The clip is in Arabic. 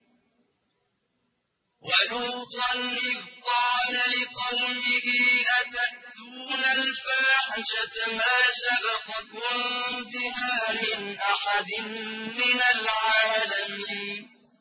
وَلُوطًا إِذْ قَالَ لِقَوْمِهِ أَتَأْتُونَ الْفَاحِشَةَ مَا سَبَقَكُم بِهَا مِنْ أَحَدٍ مِّنَ الْعَالَمِينَ